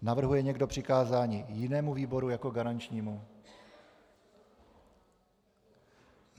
Navrhuje někdo přikázání jinému výboru jako garančnímu?